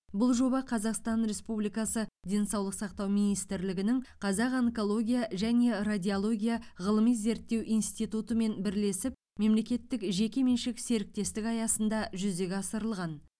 бұл жоба қазақстан республикасы денсаулық сақтау министрлігінің қазақ онкология және радиология ғылыми зерттеу институтымен бірлесіп мемлекеттік жеке меншік серіктестік аясында жүзеге асырылған